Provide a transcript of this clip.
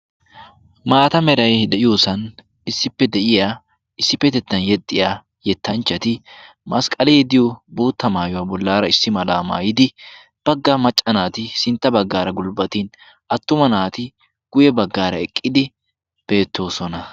maata merai de7iyoosan issippe de7iya issippetettan yexxiya yettanchchati masqqalii diyo bootta maayuwaa bollaara issi malaa maayidi baggaa macca naati sintta baggaara gulbbatin attuma naati guye baggaara eqqidi beettoosona